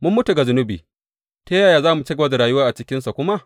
Mun mutu ga zunubi; ta yaya za mu ci gaba da rayuwa a cikinsa kuma?